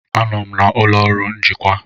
Anọ m n'ụlọ ọrụ njikwa.